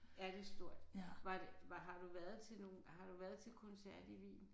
Ja det er stort. Var var har du været til nogen har du været til koncert i Wien?